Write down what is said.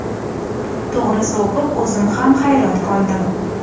To‘g‘risi, o‘qib o‘zim ham hayron qoldim.